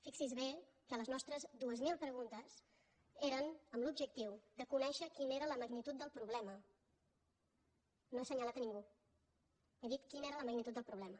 fixi’s bé que les nostres dues mil preguntes eren amb l’objectiu de conèixer quina era la magnitud del problema no he assenyalat a ningú he dit quina era la magnitud del problema